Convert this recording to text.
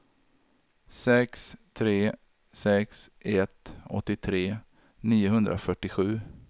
sex tre sex ett åttiotre niohundrafyrtiosju